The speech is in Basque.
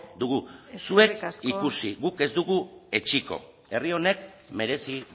dugu zuek ikusi guk ez dugu etsiko herri honek merezi